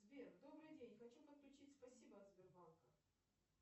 сбер добрый день хочу подключить спасибо от сбербанка